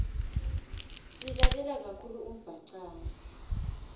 silalela kakhulu umbhacanga